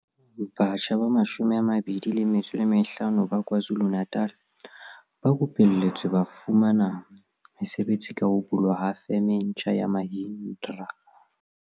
Batjha ba 25 ba KwaZu lu-Natal ba rupelletswe ba ba ba fumana mesebetsi ka ho bulwa ha Feme e ntjha ya Mahindra.